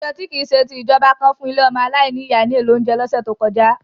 Ààjọ-tí-kìí-ṣe-ti-ìjọba kan fún ilé ọmọ aláìní ìyá ní èlò oúnjẹ lọ́sẹ̀ tó kọjá.